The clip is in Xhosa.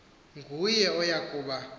nguye oya kuba